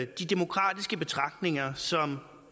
de demokratiske betragtninger som